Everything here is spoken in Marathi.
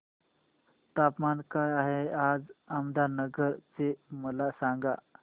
तापमान काय आहे आज अहमदनगर चे मला सांगा